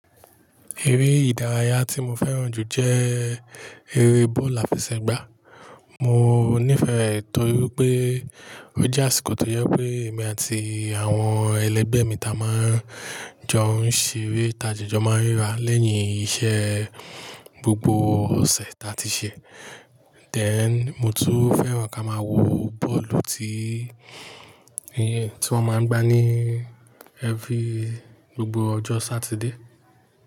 Eré ìdárayá tí mo fẹ́ràn jù jẹ́ eré bọ́ọ̀lu áfẹsẹ̀gbá. Mo nífẹ̀ẹ́ re torí pé ó jẹ́ àsìkò tó jẹ pé èmi àti àwọn ẹlẹgbẹ́ mi ta máa ń jọ ń ṣeré ta jíjó máa ń ríra lẹ́yìn iṣẹ́ gbogbo ọ̀sẹ̀ ta ti ṣẹ. Then, mo tún fẹ́ràn ká máa wo bọ́ọ̀lù tí wọ́n máa ń gbá ní every gbogbo ọjọ́ Satide.